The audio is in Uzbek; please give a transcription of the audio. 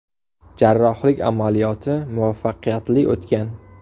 Jarrohlik amaliyoti muvaffaqiyatli o‘tgan.